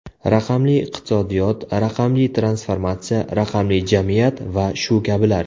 Raqamli iqtisodiyot, raqamli transformatsiya, raqamli jamiyat va shu kabilar.